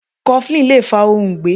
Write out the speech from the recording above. Coflin Lè fa òǹgbé.